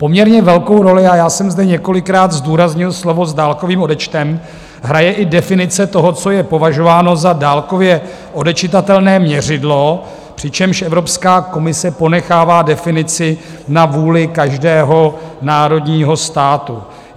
Poměrně velkou roli - a já jsem zde několikrát zdůraznil slova "s dálkovým odečtem" - hraje i definice toho, co je považováno za dálkově odečitatelné měřidlo, přičemž Evropská komise ponechává definici na vůli každého národního státu.